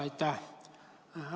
Aitäh!